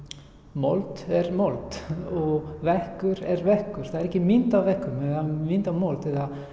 mold er mold og veggur er veggur það er engin mynd á veggnum eða mynd á mold